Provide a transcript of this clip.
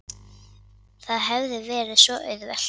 Það hefði verið svo auðvelt.